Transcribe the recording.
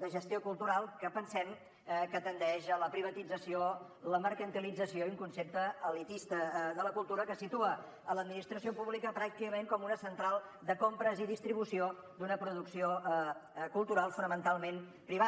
de gestió cultural que pensem que tendeix a la privatització la mercantilització i a un concepte elitista de la cultura que situa l’administració pública pràcticament com una central de compres i distribució d’una producció cultural fonamentalment privada